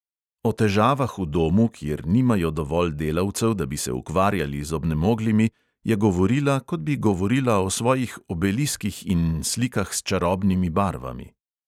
O težavah v domu, kjer nimajo dovolj delavcev, da bi se ukvarjali z obnemoglimi, je govorila, kot bi govorila o svojih obeliskih in slikah s čarobnimi barvami.